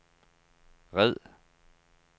red